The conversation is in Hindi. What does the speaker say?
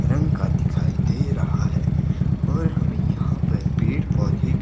रंग का दिखाई दे रहा है और हमें यहां पे पेड़ पौधे--